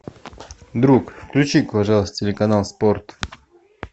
друг включи пожалуйста телеканал спорт